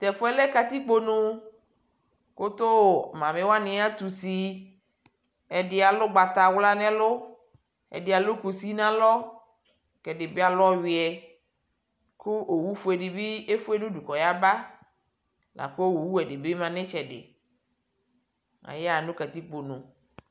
tɛƒʋɛ lɛ katikponʋ kʋtʋʋ mamiwani atʋsi ɛɖialʋ ʋgbatawla nɛlʋ ɛɖialʋ kʋsi nalɔ ɛɖibi alʋ ɔyʋɛ kʋ owʋ ƒʋele ɖibi eƒʋe nʋɖʋ kɔyaba lakʋ owʋwɛ ɖibima nʋ itsɛɖi ayaha nʋ katikponʋ